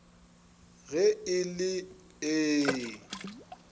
ge e le ee e